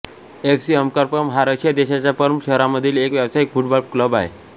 F C Amkar Perm हा Russia देशाच्या Perm शहरामधील एक व्यावसायिक फुटबॉल क्लब आहे